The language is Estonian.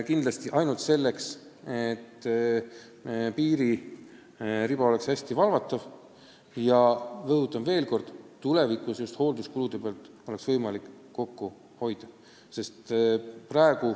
Teeme neid ainult sihiga, et piiririba oleks hästi valvatav ja, rõhutan veel kord, et tulevikus oleksid hoolduskulud võimalikult väikesed.